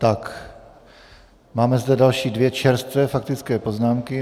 Tak, máme zde další dvě čerstvé faktické poznámky.